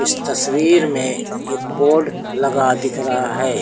इस तस्वीर में एक बोर्ड लगा दिख रहा है।